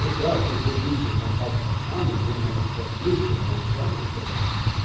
прекрасный сердечный контакт с александром он вам на все ответил но в данном чате